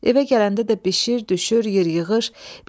Evə gələndə də bişir, düşür, ye, yığır.